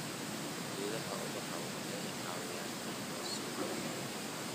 Geedaha ubaxa waxay caawiyaan in la soo jiito nyuki.